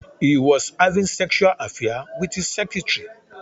He was having Sexual affair with his secretary.